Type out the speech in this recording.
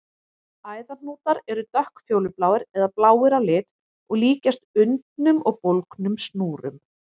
Æðahnútar eru dökkfjólubláir eða bláir á lit og líkjast undnum og bólgnum snúrum.